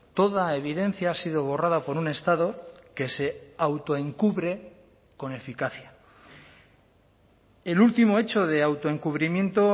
toda evidencia ha sido borrada por un estado que se autoencubre con eficacia el último hecho de autoencubrimiento